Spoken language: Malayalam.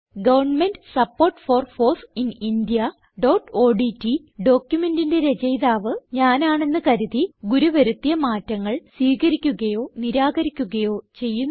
government support for foss in indiaഓഡ്റ്റ് ഡോക്യുമെന്റിന്റെ രചയിതാവ് ഞാനാണ് എന്ന് കരുതി ഗുരു വരുത്തിയ മാറ്റങ്ങൾ സ്വീകരിക്കുകയോ നിരാകരിക്കുകയോ ചെയ്യുന്നു